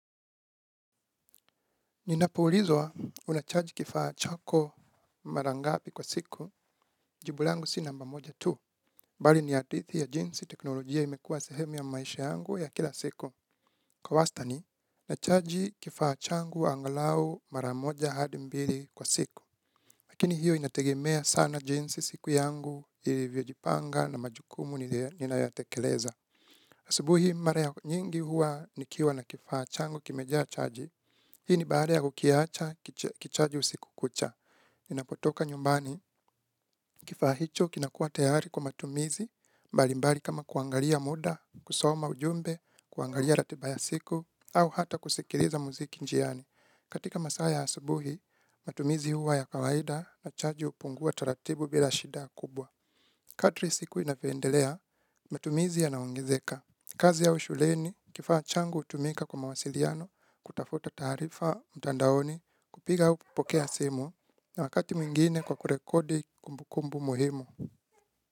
Ninapo ulizwa unachaji kifaa chako mara ngapi kwa siku jibu langu si namba moja tu. Bali ni hadithi ya jinsi teknolojia imekuwa sehemu ya maisha yangu ya kila siku. Kwa wastani nachaji kifaa changu angalau mara moja hadi mbili kwa siku. Lakini hiyo inategemea sana jinsi siku yangu ilivyojipanga na majukumu ninayotekeleza. Asubuhi mara ya nyingi huwa nikiwa na kifaa changu kimejaa chaji, hii ni baada ya kukiacha kichaji usiku. Kucha, inapotoka nyumbani, kifaa hicho kinakuwa tayari kwa matumizi, mbali mbali kama kuangalia muda, kusoma ujumbe, kuangalia ratiba ya siku, au hata kusikiliza muziki njiani. Katika masaa ya asubuhi, matumizi huwa ya kawaida na chaji hupungua taratibu bila shida kubwa. Kadri siku inavyo endelea, matumizi yanaongezeka. Kazi ya au shuleni, kifaa changu hutumika kwa mawasiliano, kutafuta taarifa mtandaoni, kupiga au kupokea simu, na wakati mwingine kwa kurekodi kumbukumbu muhimu.